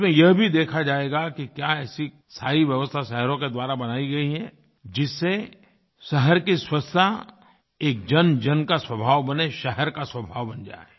इसमें यह भी देखा जाएगा कि क्या ऐसी सारी व्यवस्था शहरों के द्वारा बनायी गई हैं जिनसे शहर की स्वच्छता एक जनजन का स्वभाव बने शहर का स्वभाव बन जाए